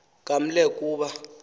kaml e kuba